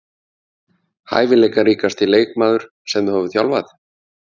Hæfileikaríkasti leikmaður sem þú hefur þjálfað?